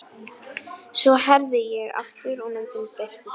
Svo herði ég aftur og myndin birtist á ný.